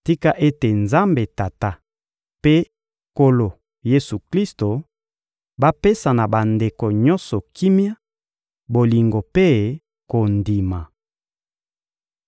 Tika ete Nzambe Tata mpe Nkolo Yesu-Klisto bapesa na bandeko nyonso kimia, bolingo mpe kondima!